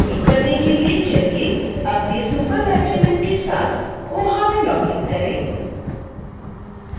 शुरू करने के लिए चलिए अपने superlibrarian के साथ koha में लॉगिन करें